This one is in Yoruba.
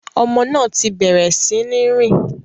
Ọmọ náà ti bẹrẹ sí ní rìn